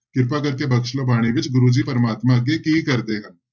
ਕਿਰਪਾ ਕਰਕੇ ਬਖ਼ਸ਼ ਲਓ ਬਾਣੀ ਵਿੱਚ ਗੁਰੂ ਜੀ ਪ੍ਰਮਾਤਮਾ ਅੱਗੇ ਕੀ ਕਰਦੇ ਹਨ।